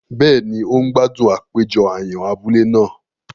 Béèni, o n gbádùn àpéjọ àyàn abúlé náà